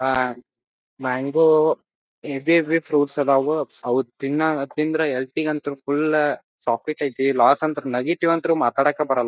ಆಹ್ಹ್ mango ಇದ್ದಿದ್ fruits ಆದವು ಅದ್ ತಿಂದ್ರೆ ಹೇಲ್ತಿಗಂತ್ರು ಫುಲ್ ಸಾಫ್ಟಿಕ್ ಐತಿ ಲಾಸ್ ನೆಗೆಟಿವ್ ಅಂತ್ರ ಮಾತಾಡಕ್ ಬರೋಲ್ಲ--